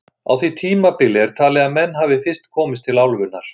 Á því tímabili er talið að menn hafi fyrst komið til álfunnar.